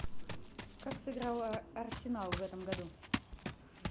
как сыграл арсенал в этом году